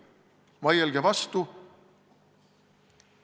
Vaielge vastu!